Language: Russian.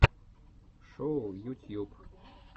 шоу ютьюб